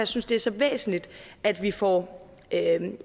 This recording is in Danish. synes det er så væsentligt at vi får